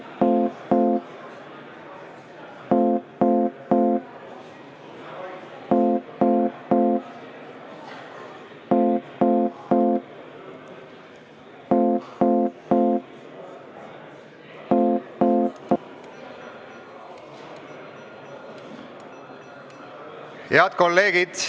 Head kolleegid!